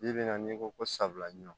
Bi bi in na n'i ko ko sawula ɲɔn